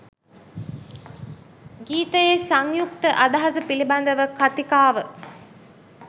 ගීතයේ සංයුක්ත අදහස පිළිබඳ කතිකාව